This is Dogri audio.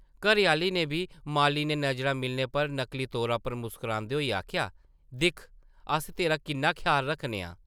घरै-आह्ली नै बी माली नै नज़रां मिलने पर नकली तौरा उप्पर मुस्करांदे होई आखेआ, दिक्ख अस तेरा किन्ना ख्याल रक्खने आं ।